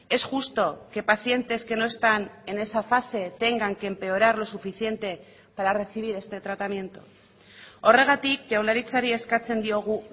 es justo que pacientes que no están en esa fase tengan que empeorar lo suficiente para recibir este tratamiento horregatik jaurlaritzari eskatzen diogu